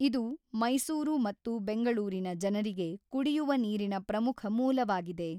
ಇದು ಮೈಸೂರು ಮತ್ತು ಬೆಂಗಳೂರಿನ ಜನರಿಗೆ ಕುಡಿಯುವ ನೀರಿನ ಪ್ರಮುಖ ಮೂಲವಾಗಿದೆ.